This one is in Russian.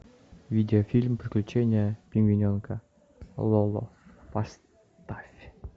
видеофильм приключения пингвиненка лоло поставь